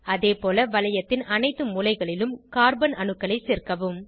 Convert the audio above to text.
அதேபோல வளையத்தின் அனைத்து மூலைகளிலும் கார்பன் அணுக்களை சேர்க்கவும்